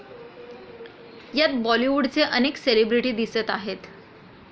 यात बॉलिवूडचे अनेक सेलिब्रेटी दिसत आहेत.